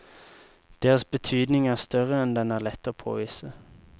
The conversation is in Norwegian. Deres betydning er større enn den er lett å påvise.